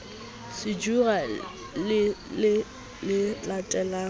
sejura le le se latelang